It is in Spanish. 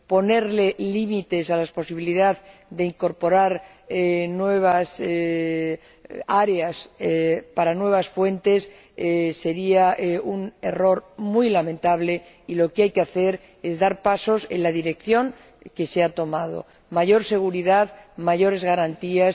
Ponerle límites a la posibilidad de incorporar nuevas áreas para nuevas fuentes sería un error muy lamentable y lo que hay que hacer es dar pasos en la dirección que se ha tomado mayor seguridad y mayores garantías.